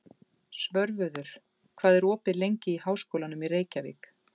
Svörfuður, hvað er opið lengi í Háskólanum í Reykjavík?